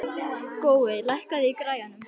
Gói, lækkaðu í græjunum.